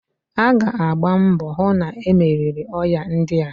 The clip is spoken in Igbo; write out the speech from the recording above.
A ga agba mbọ hu na-e meriri oya ndia.